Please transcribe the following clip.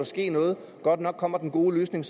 ske noget godt nok kommer den gode løsning